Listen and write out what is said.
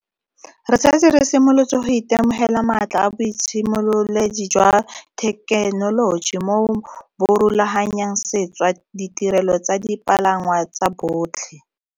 Re setse re simolotse go itemogela maatla a boitshimololedi jwa thekenoloji moo bo rulaganyang sešwa ditirelo tsa dipalangwa tsa botlhe.